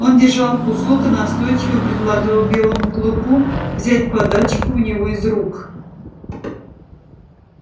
он держал кусок и настойчиво предлагал белому клыку взять подачку у него из рук